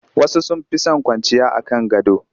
Wasu sun fi son kwanciya a kan gado